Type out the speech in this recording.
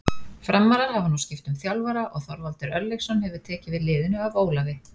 Framarar hafa nú skipt um þjálfara og Þorvaldur Örlygsson hefur tekið við liðinu af Ólafi.